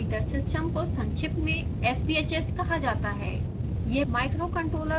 singleboard heater system को संक्षिप्त में sbhs कहा जाता है